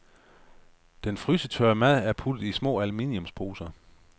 Den frysetørrede mad er puttet i små alluminiumsposer.